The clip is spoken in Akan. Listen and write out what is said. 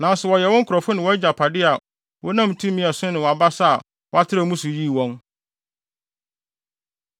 Nanso wɔyɛ wo nkurɔfo ne wʼagyapade a wonam tumi a ɛso ne wʼabasa a woatrɛw mu so yii wɔn.”